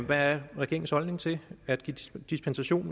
der er regeringens holdning til at give dispensation